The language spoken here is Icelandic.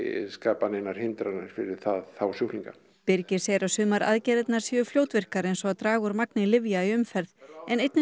skapa neinar hindranir fyrir þá sjúklinga birgir segir að sumar aðgerðirnar séu fljótvirkar eins og að draga úr magni lyfja í umferð en einnig